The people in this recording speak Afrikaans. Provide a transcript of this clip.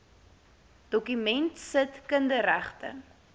dokument sit kinderregte